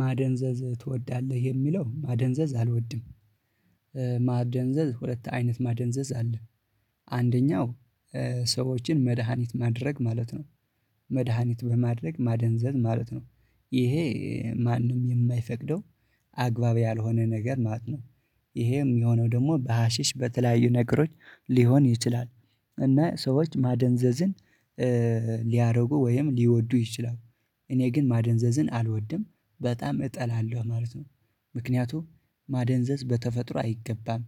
ማደንዘዝ ትወዳለህ? የሚለው ማደንዘዝ አልወድም። ማደንዘዝ ሁለት አይነት ማደንዘዝ አለ። አንደኛው ሰዎችን መድሃኒት ማድረግ ማለት ነው። መድሃኒት በማድረግ ማደንዘዝ ማለት ነው። ይሄ ማንም የማይፈቅደው አግባብ ያልሆነ ነገር ማለት ነው። ይሄም የሆነው ደግሞ በሀሺሽ በተለያዩ ነገሮች ሊሆን ይችላል። እና ሰዎች ማደንዘዝን ሊያደርጉ ወይም ሊወዱ ይችላሉ። እኔ ግን ማደንዘዝን አልወድም በጣም እጠላለሁ ማለት ነው። ምክንያቱም ማደንዘዝ በተፈጥሮ አይገባም።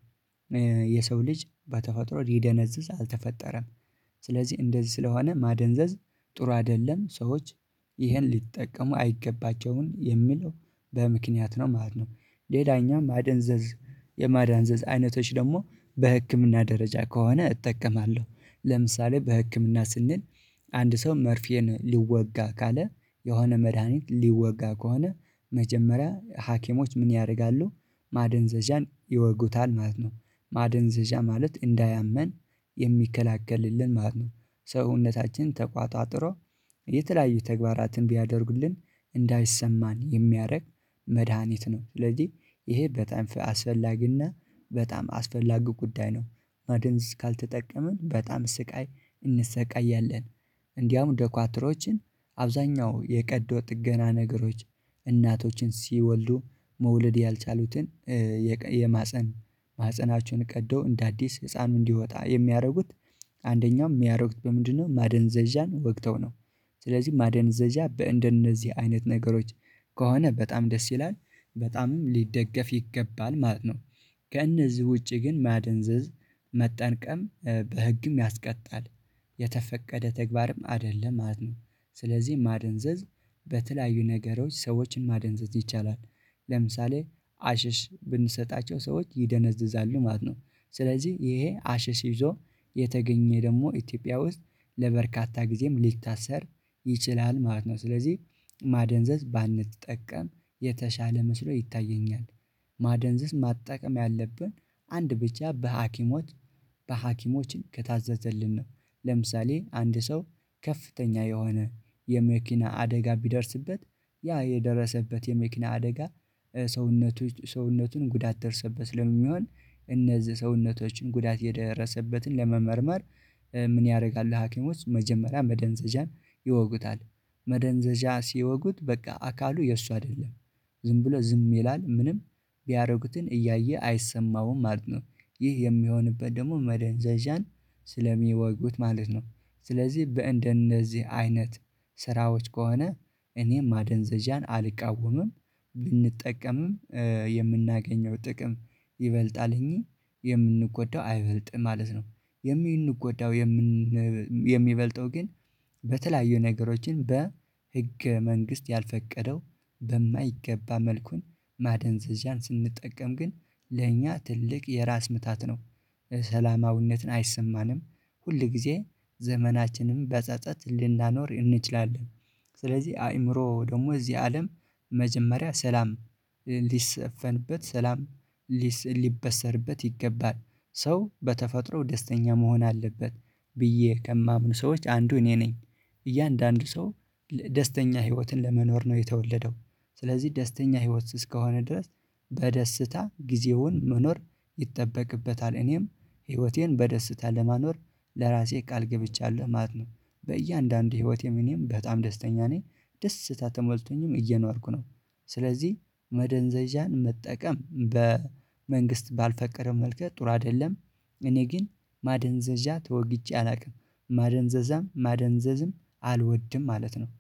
የሰው ልጅ በተፈጥሮ ሊደነዝዝ አልተፈጠረም። ስለዚህ እንደዚህ ስለሆነ ማደንዘዝ ጥሩ አይደለም ሰዎች ይህን ሊጠቀሙ አይገባቸውም የሚለው በምክንያት ነው ማለት ነው። ሌላኛም ማደንዘዝ የማዳንዘዝ አይነቶች ደግሞ በህክምና ደረጃ ከሆነ እጠቀማለሁ ለምሳሌ በህክምና ስንል። አንድ ሰው መርፌን ሊወጋ ካለ የሆነ መድሃኒት ሊወጋ ከሆነ መጀመሪያ ሀኪሞች ምን ያረጋሉ? ማደንዘዣን ይወጉታል ማለት ነው ማደንዘዣ ማለት እንዳያመን የሚከላከልልን ማለት ነው። ሰውነታችን ተቋጥሮ የተለያዩ ተግባራትን ቢያደርጉልን እንዳይሰማን የሚያደርግ መድሃኒት ነው ስለዚህ ይሄ በጣም አስፈላጊና በጣም አስፈላጊ ጉዳይ ነው። ማድንዝ ካልተጠቀምን በጣም ስቃይ እንሰቃያለን። እንዲያውም ደኳትሮችን አብዛኛው የቀዶ ጥገና ነገሮች እናቶችን ሲወልዱ መውለድ ያልቻሉትን የማህፀን ማህፀናችሁን ቀዶ እንደ አዲስ ህፃኑ እንዲወጣ የሚያደርጉት። አንደኛው የሚያደርጉት በምንድነው? ማደንዘዣን ወግተው ነው። ስለዚህ ማደንዘዣ በእንደነዚህ አይነት ነገሮች ከሆነ በጣም ደስ ይላል በጣምም ሊደገፍ ይገባል ማለት ነው። ከእነዚህ ውጪ ግን ማደንዘዝ መጠንቀም በህግም ያስቀጣል። የተፈቀደ ተግባርም አይደለም ማለት ነው። ስለዚህ ማደንዘዝ በተለያዩ ነገሮች ሰዎችን ማደንዘዝ ይቻላል። ለምሳሌ አሽሽ ብንሰጣቸው ሰዎች ይደነዝዛሉ ማለት ነው። ስለዚህ ይሄ አሽሽ ይዞ የተገኘ ደግሞ ኢትዮጵያ ውስጥ ለበርካታ ጊዜም ሊታሰር ይችላል ማለት ነው። ስለዚህ ማደንዘዝ ባንጠቀም የተሻለ መስሎ ይታየኛል። ማደንዘዝ ማጠቀም ያለብን አንድ ብቻ በሀኪሞች በሀኪሞችን ከታዘዘልን ነው። ለምሳሌ አንድ ሰው ከፍተኛ የሆነ የመኪና አደጋ ቢደርስበት ያ የደረሰበት የመኪና አደጋ ሰውነቶች ሰውነቱን ጉዳት ደርሰበት ስለሚሆን እነዚህ ሰውነቶችን ጉዳት የደረሰበትን ለመመርመር ምን ያደርጋሉ? ሀኪሞች መጀመሪያ መደንዘዣን ይወጉታል። መደንዘዣ ሲወጉት በቃ አካሉ የእሱ አይደለም ዝም ብሎ ዝም ይላል ምንም ቢያረጉትን እያየ አይሰማውም ማለት ነው። ይህ የሚሆንበት ደግሞ መደንዘዣን ስለሚወጉት ማለት ነው። ስለዚህ በእንደነዚህ አይነት ስራዎች ከሆነ እኔም ማደንዘዣን አልቃወምም ብንጠቀምም የምናገኘው ጥቅም ይበልጣል እኚኝየምንጎዳው አይበልጥም ማለት ነው። የሚንጎዳው የሚበልጠው ግን በተለያዩ ነገሮችን በህገ መንግስት ያልፈቀደው በማይገባ መልኩን ማደንዘዣን ስንጠቀም ግን ለእኛ ትልቅ የራስ ምታት ነው። ሰላማዊነትን አይሰማንም ሁል ጊዜ ዘመናችንም በጸጸት ልናኖር እንችላለን። ስለዚህ አይምሮ ደግሞ እዚህ አለም መጀመሪያ ሰላም ሊሰፈንበት ሰላም ሊበሰርበት ይገባል ሰው በተፈጥሮ ደስተኛ መሆን አለበት ብዬ ከማምኑ ሰዎች አንዱ እኔ ነኝ። እያንዳንዱ ሰው ደስተኛ ህይወትን ለመኖር ነው የተወለደው። ስለዚህ ደስተኛ ህይወት ስስ ከሆነ ድረስ በደስታ ጊዜውን መኖር ይጠበቅበታል። እኔም ህይወቴን በደስታ ለመኖር ለራሴ ቃል ገብቻለሁ ማለት ነው። በእያንዳንዱ ህይወቴ ምንም በጣም ደስተኛ ነኝ ደስታ ተሞልቶኝም እየነዋርኩ ነው። ስለዚህ መደንዘዣን መጠቀም በመንግስት ባልፈቀረም መልከ ጥሩ አይደለም። እኔ ግን ማደንዘዣ ተወግቼ አላውቅም ማደንዘዛም ማደንዘዝም አልወድም ማለት ነው